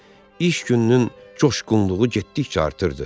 İş gününün coşğunluğu getdikcə artırırdı.